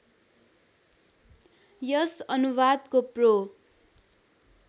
यस अनुवादको प्रो